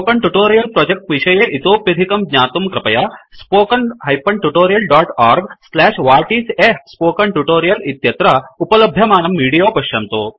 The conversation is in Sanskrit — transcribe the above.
स्पोकन ट्युटोरियल प्रोजेक्ट विषये इतोप्यधिकं ज्ञातुं कृपया spoken tutorialorgWhat is a Spoken Tutorial इत्यत्र उपलभ्यमानं विडीयो पश्यतु